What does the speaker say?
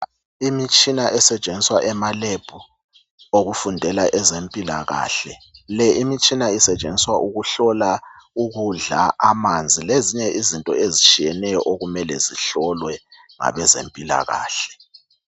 Imitshina esetshenziswa emaLab. Okufundela ezempilakahle. Le imitshina isetshenziswa ukuhlola ukudla, amanzi lezinye izinto ezitshiyeneyo, okumele zihlolwe ngabezempilakahle.